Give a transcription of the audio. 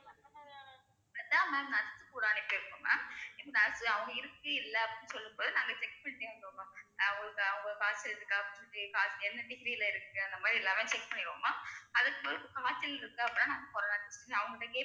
கேட்டா ma'am nurse கூட அனுப்பி வெப்போம் ma'am nurse அவங்க இருக்கு இல்லை அப்படின்னு சொல்லும் போது நாங்க check பண்ணி வந்தோம்மா அவங்க~ அவங்களுக்கு காய்ச்சல் இருக்கா என்ன degree ல இருக்கு அந்த மாதிரி எல்லாமே check பண்ணிருவோம் ma'am அதுக்கு பிறகு காய்ச்சல் இருக்கு அப்படின்னா நாங்க corona test எடுப்போம் அவங்க கிட்ட கேட் ~